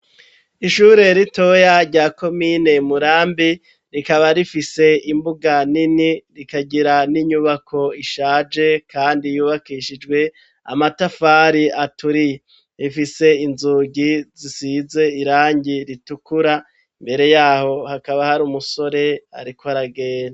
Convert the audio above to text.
Ishure ritoya, rya komine Murambi, rikaba rifise imbuga nini, rikagira n'inyubako ishaje, kandi yubakishijwe, amatafari aturiye; rifise inzugi, zisize irangi ritukura, imbere y'aho, hakaba hari umusore, ariko aragenda.